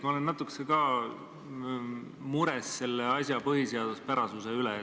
Ma olen ka natuke mures selle asja põhiseaduspärasuse pärast.